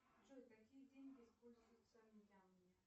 джой какие деньги используются в мьянме